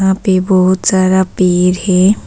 यहां पे बहुत सारा पेड़ है।